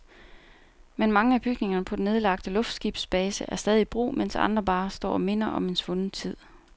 Men mange af bygningerne på den nedlagte luftskibsbase er stadig i brug, medens andre bare står og minder om en svunden tid.